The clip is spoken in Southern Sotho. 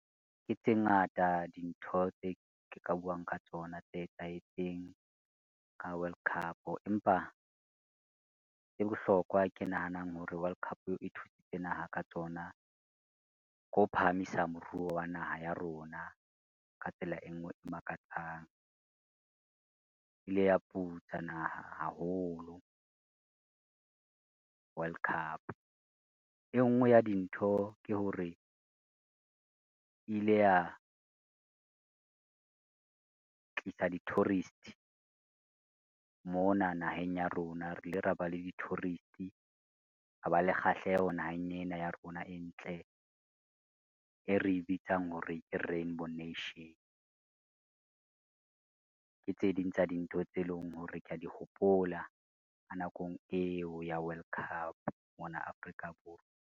Ke tse ngata dintho tse ke ka buang ka tsona tse etsahetseng ka World Cup empa, e bohlokwa ke nahanang hore World Cup e thusitse naha ka tsona, ke ho phahamisa moruo wa naha ya rona ka tsela e ngwe e makatsang. E ile ya putsa naha haholo, World Cup e ngwe ya dintho ke hore, e ile ya tlisa di-tourist mona naheng ya rona, re ile ra ba le di-tourist, ra ba le kgahleho naheng ena ya rona e ntle e re bitsang hore ke rainbow nation. Ke tse ding tsa dintho tse leng hore kea di hopola ka nakong eo ya World Cup mona Afrika Borwa.